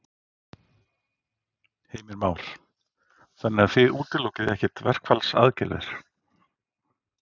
Heimir Már: Þannig að þið útilokið ekkert verkfallsaðgerðir?